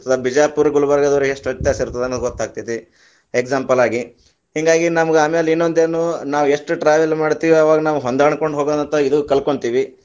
ಬಿಜಾಪುರ್ ಗುಲ್ಬರ್ಗದವರಿಗ ಎಷ್ಟು ವ್ಯತ್ಯಾಸ ಇರ್ತದೆ ಅನ್ನೋದು ಗೊತ್ತಾಗ್ತೈತಿ, example ಆಗಿ, ಹಿಂಗಾಗಿ ನಮ್ಗ ಆಮ್ಯಾಲ ಇನ್ನೊಂದ ಏನು ನಾವು ಎಷ್ಟು travel ಮಾಡ್ತೀವಿ ಅವಾಗ ನಾವು ಹೊಂದಾಣಕೊಂಡ ಹೋಗೋದಂತು ಇರೋದ್ ಕಲ್ಕೋಂತೀವಿ.